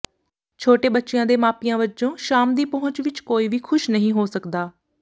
ਛੋਟੇ ਬੱਚਿਆਂ ਦੇ ਮਾਪਿਆਂ ਵਜੋਂ ਸ਼ਾਮ ਦੀ ਪਹੁੰਚ ਵਿਚ ਕੋਈ ਵੀ ਖੁਸ਼ ਨਹੀਂ ਹੋ ਸਕਦਾ